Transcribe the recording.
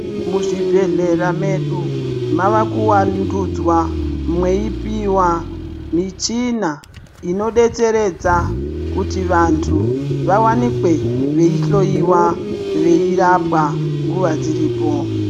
Muzvibhedhlera medu mava kuvandudzwa mweipiva michina inobetseredza. Kuti vantu vavanikwe veihloiwa veirapwa nguva dziripo.